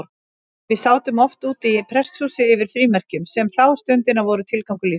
Við sátum oft úti í prestshúsi yfir frímerkjum, sem þá stundina voru tilgangur lífsins.